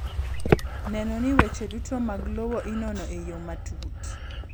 Neno ni weche duto mag lowo inono e yo matut.